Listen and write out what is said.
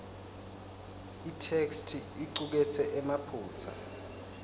itheksthi icuketse emaphutsa